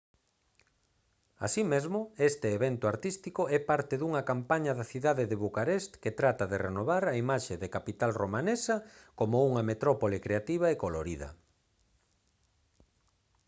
así mesmo este evento artístico é parte dunha campaña da cidade de bucarest que trata de renovar a imaxe da capital romanesa como unha metrópole creativa e colorida